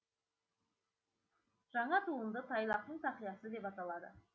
жаңа туынды тайлақтың тақиясы деп аталады